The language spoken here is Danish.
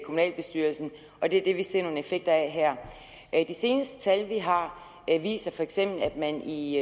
kommunalbestyrelsen og det er det vi ser nogle effekter af her de seneste tal vi har viser feks at man i